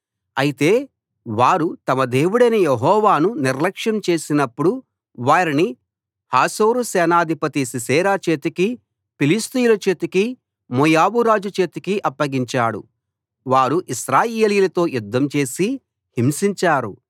అయితే వారు తమ దేవుడైన యెహోవాను నిర్లక్ష్యం చేసినప్పుడు వారిని హాసోరు సేనాధిపతి సీసెరా చేతికీ ఫిలిష్తీయుల చేతికీ మోయాబు రాజు చేతికీ అప్పగించాడు వారు ఇశ్రాయేలీయులతో యుద్ధం చేసి హింసించారు